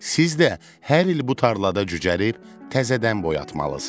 Siz də hər il bu tarlada cücərib təzədən boyatmalısınız.